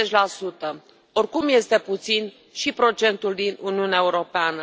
50 Oricum, este puțin și procentul din Uniunea Europeană.